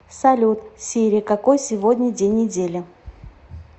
салют сири какой сегодня день недели